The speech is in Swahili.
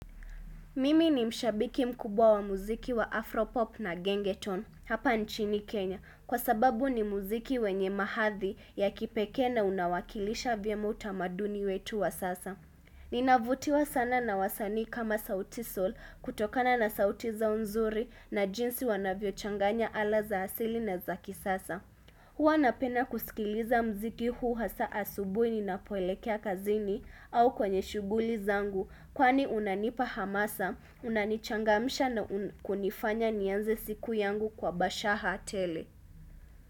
Mimi ni mshabiki mkubwa wa muziki wa Afropop na gengetone hapa nchini Kenya kwa sababu ni muziki wenye mahathi ya kipekee na unawakilisha vyema utamaduni wetu wa sasa. Ninavutiwa sana na wasanii kama sauti sol kutokana na sauti zao nzuri na jinsi wanavyo changanya ala za hasili na za kisasa. Huwa napenda kusikiliza muziki huu hasa asubuhi ninapoelekea kazini au kwenye shughuli zangu kwani unanipa hamasa, unanichangamsha na kunifanya nianze siku yangu kwa bashaha tele.